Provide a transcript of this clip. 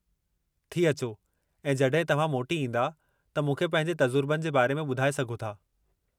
थी अ‍चो ऐं जॾहिं तव्हां मोटी ईंदा त मूंखे पंहिंजे तजुर्बनि जे बारे में ॿुधाए सघो था।